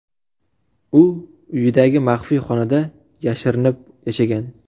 U uyidagi maxfiy xonada yashirinib yashagan.